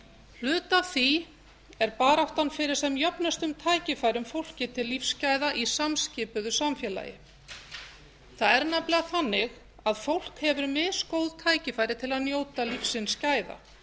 hluti af því er baráttan fyrir sem jöfnustum tækifærum fólki til lífsgæða í samskiptum við samfélagið það er nefnilega þannig að fólk hefur misgóð tækifæri til að njóta lífsins gæða